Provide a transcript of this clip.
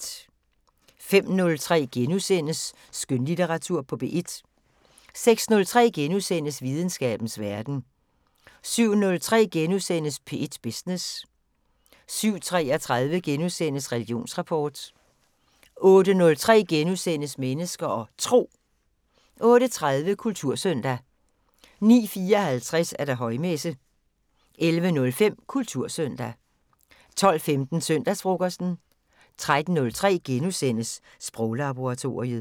05:03: Skønlitteratur på P1 * 06:03: Videnskabens Verden * 07:03: P1 Business * 07:33: Religionsrapport * 08:03: Mennesker og Tro * 08:30: Kultursøndag 09:54: Højmesse - 11:05: Kultursøndag 12:15: Søndagsfrokosten 13:03: Sproglaboratoriet *